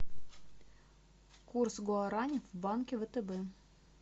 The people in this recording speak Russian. курс гуарани в банке втб